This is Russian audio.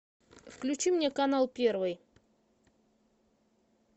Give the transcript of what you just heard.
включи мне канал первый